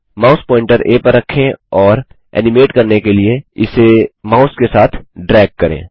mouse pointer आ पर रखें और एनिमेट करने के लिए इसे माउस के साथ ड्रैग करें